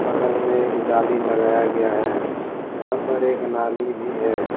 बगल में एक जाली लगाया गया है यहां पर एक नाली भी है।